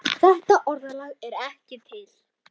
Þetta orðalag er ekki til.